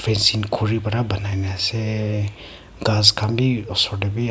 sin khori para bonai ni ase gass khan bhi osor te bhi--